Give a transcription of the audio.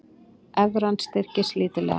Evran styrkist lítillega